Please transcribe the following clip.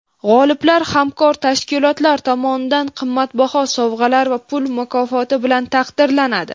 G‘oliblar hamkor tashkilotlar tomonidan qimmatbaho sovg‘alar va pul mukofoti bilan taqdirlanadi.